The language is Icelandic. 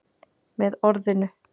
Með orðinu